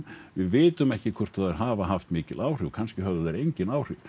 við vitum ekki hvort þær hafa haft mikil áhrif kannski höfðu þær engin áhrif